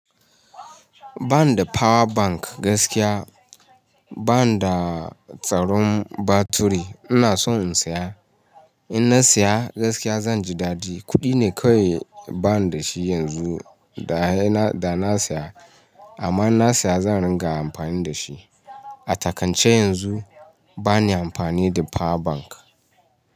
Ba ni da power bank gaskiya. Ba ni da tsaron batiri. Ina so in saya. In na saya gaskiya zan ji dadi. Kuɗi ne kawai ba ni da shi yanzu da na saya. Amma in na saya zan ringa amfani da shi. A takance yanzu ba ni amfani da power bank.